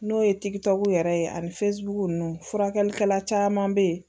N'o ye yɛrɛ ye ani ninnu furakɛlikɛla caman be ye